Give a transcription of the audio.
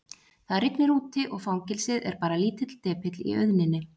Það rignir úti og fangelsið er bara lítill depill í auðninni.